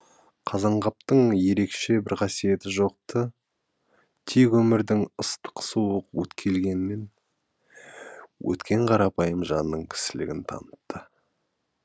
қазанғаптың ерекше бір қасиеті жоқ ты тек өмірдің ыстық суық өткелгенінен өткен қарапайым жанның кісілігін танытты